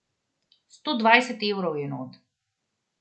Sto dvajset evrov je not.